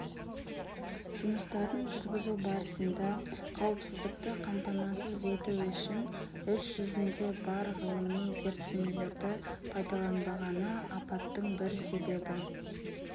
жұмыстарын жүргізу барысында қауіпсіздікті қамтамасыз ету үшін іс-жүзінде бар ғылыми зерттемелерді пайдаланбағыны апаттың бір себебі